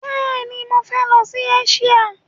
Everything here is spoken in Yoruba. Bẹ́ẹ̀ni, mọ fẹ lọ sí Eṣíà.